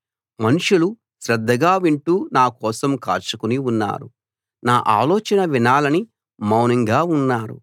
మనుషులు శ్రద్ధగా వింటూ నా కోసం కాచుకుని ఉన్నారు నా ఆలోచన వినాలని మౌనంగా ఉన్నారు